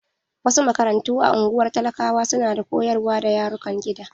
Wasu makarantu a ungwar talakawa su na koyarwa da yarukan gida.